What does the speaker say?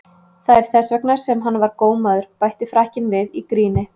Það er þess vegna sem hann var gómaður, bætti Frakkinn við í gríni.